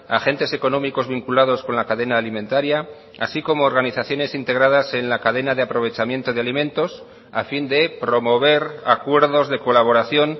agentes económicos vinculados con la cadena alimentaria así como organizaciones integradas en la cadena de aprovechamiento de alimentos a fin de promover acuerdos de colaboración